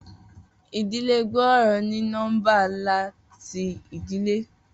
Idile gbooro ni nọmba nla ti idile.